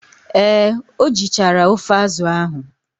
Ee, o jichara ofe azụ ahụ.